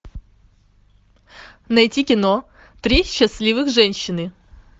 найти кино три счастливых женщины